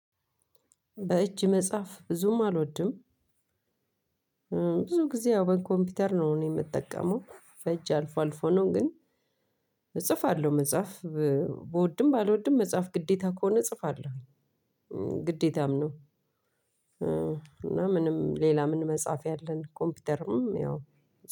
በእጅ መጽሐፍ ብዙም አልወድም። ብዙ ግዜ ያው በኮምፒውተር ነው እኔ የምጠቀመው በእጅ አልፎ አልፎ ነው። ግን እጽፋለሁ መጻፍ ብወድም ባልወድም መጻፍ ግዴታ ከሆነ እጽፋለሁኝ። ግዴታም ነው። እና ሌላ ምን? መጻፊያ አለን